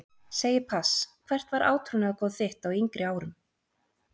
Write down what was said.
Segi pass Hvert var átrúnaðargoð þitt á yngri árum?